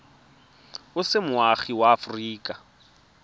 o se moagi wa aforika